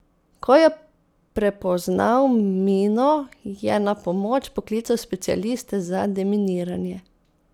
Ko je prepoznal mino, je na pomoč poklical specialiste za deminiranje.